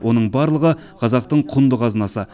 оның барлығы қазақтың құнды қазынасы